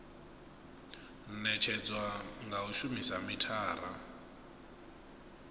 netshedzwa nga u shumisa mithara